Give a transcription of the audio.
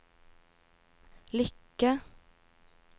lykke